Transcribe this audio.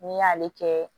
N'i y'ale kɛ